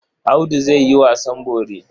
Audu zai yi wasan bori.